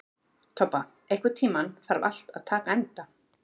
Tobba, einhvern tímann þarf allt að taka enda.